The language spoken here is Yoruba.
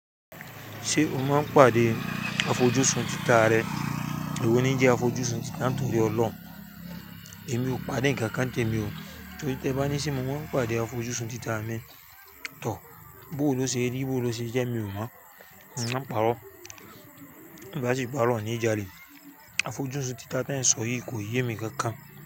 Ṣé o máa ń pàdé afọjúsùn títà rẹ? Èwo ni je afọjúsùn titá torí ọlọ́run. Èmi ò pàdé ǹkankan tèmi o. Tori tẹ́ bá ní se mo máa ń pàdé afọjúsùn títà mi. Tọ́, bó lo ṣe rí, bó lo ṣe jẹ́ mi ò mọ̀. A pàrọ́, bá ti pàrọ́ ni ìjà le. Afọjúsùn títà te ń sọ yìí kò yé mi kankan.